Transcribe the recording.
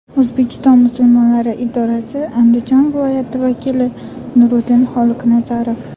O‘zbekiston musulmonlari idorasi Andijon viloyati vakili Nuriddin Xoliqnazarov.